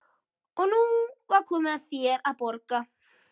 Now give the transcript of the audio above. Og nú er komið að þér að borga.